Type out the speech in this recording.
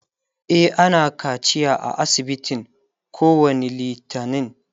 e ana kaciya a asibitin kowani littani